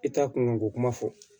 I ta kunko kuma fɔ